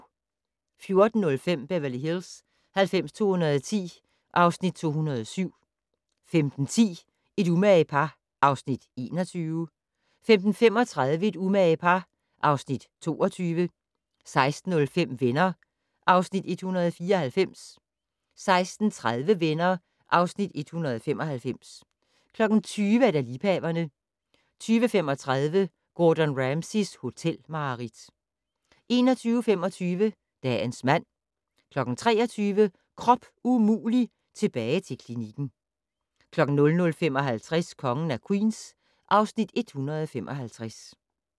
14:05: Beverly Hills 90210 (Afs. 207) 15:10: Et umage par (Afs. 21) 15:35: Et umage par (Afs. 22) 16:05: Venner (Afs. 194) 16:30: Venner (Afs. 195) 20:00: Liebhaverne 20:35: Gordon Ramsays hotelmareridt 21:25: Dagens mand 23:00: Krop umulig - tilbage til klinikken 00:55: Kongen af Queens (Afs. 155)